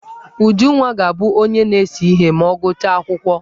Ujunwa ga-abụ onye na-ese ihe ma ọ gụchaa akwụkwọ.